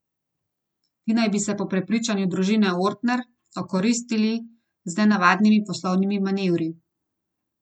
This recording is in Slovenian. Ti naj bi se po prepričanju družine Ortner okoristili z nenavadnimi poslovnimi manevri.